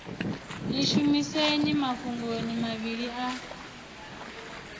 ḽi shumiseni mafhungoni mavhili a